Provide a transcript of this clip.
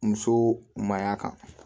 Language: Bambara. Muso mayiga kan